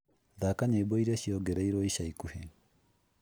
thaka nyĩmbo iria ciongereirũo ica ikuhĩ